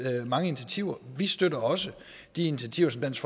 mange initiativer vi støtter også de initiativer som dansk